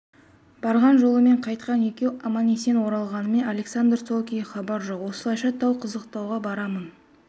барған жолымен қайтқан екеу аман-есен оралғанымен александрдан сол күйі хабар жоқ осылайша тау қызықтауға барамын